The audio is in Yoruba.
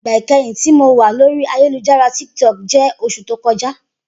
Igba ikẹhin ti Mo wa lori ayelujara Tik Tok jẹ oṣu to kọja.